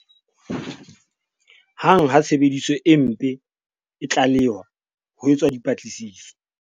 "Hang ha tshebediso e mpe e tlalehwa, ho etswa dipatlisiso."